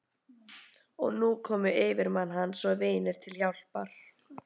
Og nú komu yfirmenn hans og vinir til hjálpar.